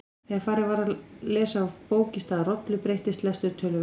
Þegar farið var að lesa af bók í stað rollu breyttist lestur töluvert.